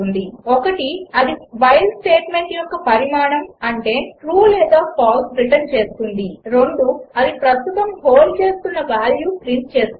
ఒకటి అది while statement యొక్క పరిణామం అంటే ట్రూ లేదా ఫాల్స్ రిటర్న్ చేస్తుంది రెండు అది ప్రస్తుతం హోల్డ్ చేస్తోన్న వాల్యూ ప్రింట్ చేస్తుంది